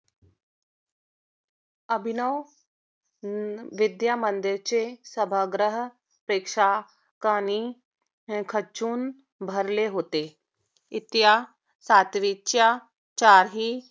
अभिनव विद्यामंदिराचे सभागृह प्रेक्षकांनी खच्चून भरले होते. इयत्ता सातवी च्या चारही